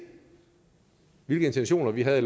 hvilke intentioner vi havde